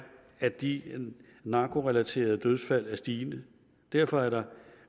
at de narkorelaterede dødsfald er stigende derfor er der